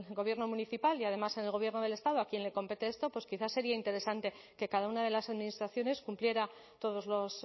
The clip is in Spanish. gobierno municipal y además en el gobierno del estado a quien le compete esto pues quizá sería interesante que cada una de las administraciones cumpliera todos los